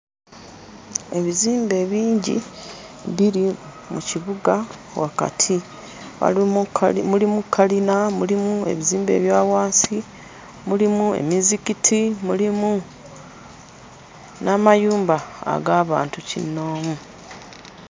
Ebizimbe bingi biri mu kibuga wakati, walimu kkali mulimu kkalina, mulimu ebizimbe ebya wansi, mulimu emizikiti mulimu n'amayumba ag'abantu kinnoomu.